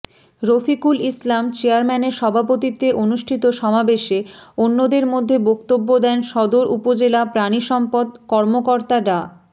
রফিকুল ইসলাম চেয়ারম্যানের সভাপতিত্বে অনুষ্ঠিত সমাবেশে অন্যদের মধ্যে বক্তব্য দেন সদর উপজেলা প্রাণিসম্পদ কর্মকর্তা ডা